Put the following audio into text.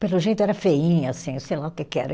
Pelo jeito era feinha, assim, sei lá o que que era.